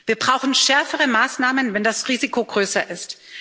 Wir brauchen schärfere Maßnahmen, wenn das Risiko größer ist.